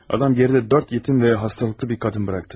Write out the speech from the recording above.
Adam geridə dörd yetim və xəstəlikli bir qadın buraxdı.